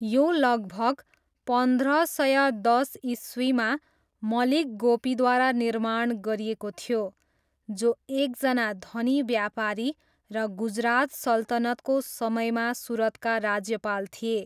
यो लगभग पन्ध्र सय दस इस्वीमा मलिक गोपीद्वारा निर्माण गरिएको थियो, जो एकजना धनी व्यापारी र गुजरात सल्तनतको समयमा सुरतका राज्यपाल थिए।